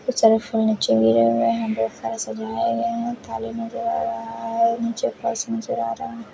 यहाँ बहोत सारे सझाये गए है काले नजर आ रहे है निचे फर्स नजर आ रहा है।